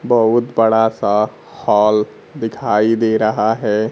बहुत बड़ा सा हॉल दिखाई दे रहा है।